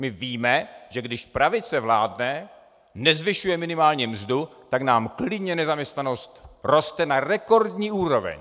My víme, že když pravice vládne, nezvyšuje minimální mzdu, tak nám klidně nezaměstnanost roste na rekordní úroveň.